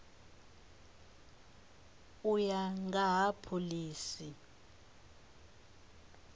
u ya nga ha phoḽisi